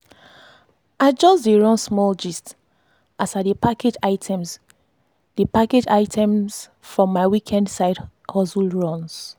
i just dey run small gist as i dey package items dey package items from my weekend side hustle runs.